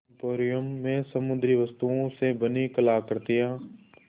emporium में समुद्री वस्तुओं से बनी कलाकृतियाँ